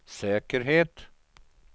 säkerhet